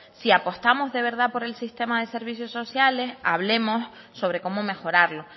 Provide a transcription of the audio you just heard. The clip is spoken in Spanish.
si apostamos de verdad por el sistema de servicios sociales hablemos sobre cómo mejorarlo